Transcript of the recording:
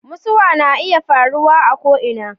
mutuwa na iya faruwa a ko ina